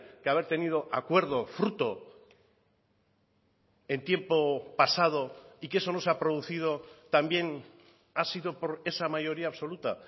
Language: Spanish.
que haber tenido acuerdo fruto en tiempo pasado y que eso no se ha producido también ha sido por esa mayoría absoluta